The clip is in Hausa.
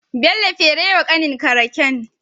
Bello fere wa kanin ka raken